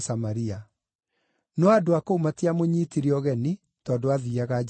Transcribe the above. no andũ a kũu matiamũnyiitire ũgeni, tondũ aathiiaga Jerusalemu.